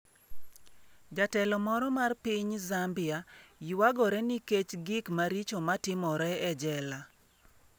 Jatelo moro mar piny Zambia ywagore nikech gik maricho matimore e jela